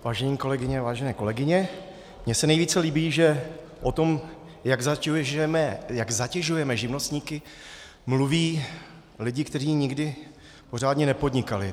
Vážené kolegyně, vážení kolegové, mně se nejvíce líbí, že o tom, jak zatěžujeme živnostníky, mluví lidi, kteří nikdy pořádně nepodnikali.